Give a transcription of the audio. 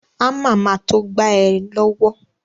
Ámà ma to gba ẹ lọ́wọ́